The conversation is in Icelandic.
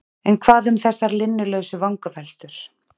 en hvað um þessar linnulausu vangaveltur?